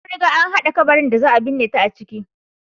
An riga an hada kabarin da za a binne ta a ciki.